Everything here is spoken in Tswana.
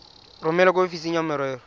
romele kwa ofising ya merero